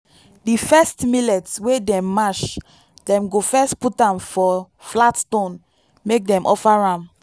di first millet wey dem mash dem go first put am for flat stone make dem offer am.